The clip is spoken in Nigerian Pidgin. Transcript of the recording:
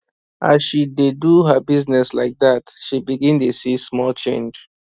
as she dey do her business like that she begin dey see small change